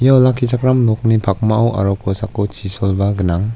ia olakkichakram nokni pakmao aro kosako chisolba gnang.